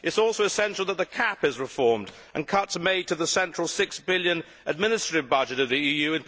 It is also essential that the CAP is reformed and cuts are made to the central EUR 6 billion administrative budget of the EU.